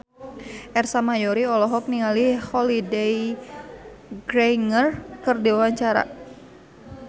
Ersa Mayori olohok ningali Holliday Grainger keur diwawancara